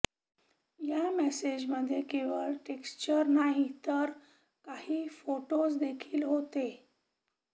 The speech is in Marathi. या मेसेजमध्ये केवळ टेक्स्टच नाही तर काही फोटोजदेखील होते